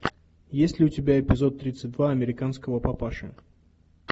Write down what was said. есть ли у тебя эпизод тридцать два американского папаши